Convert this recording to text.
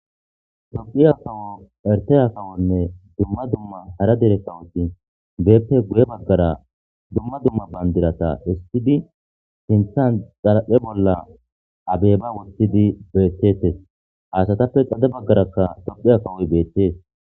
Tophiya kawo erteya kawonne dumma dumma hara derekkawoti beeppe guye baggara dumma dumma bandirata istidi sinthan xaraphe bolla abeyba wottidi beettetes haasatappe xade baggarakka tophiya kawoy beettees